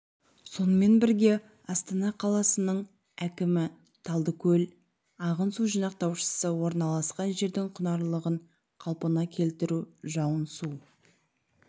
сонымен бірге астана қаласының әкімі талдыкөл ағын су жинақтаушысы орналасқан жердің құнарлығын қалпына келтіру жауын су